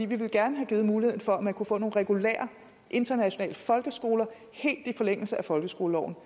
ville gerne havde givet mulighed for at man kunne få nogle regulære internationale folkeskoler helt i forlængelse af folkeskoleloven